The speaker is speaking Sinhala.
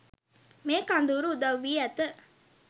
මේ කඳවුර උදව් වී ඇත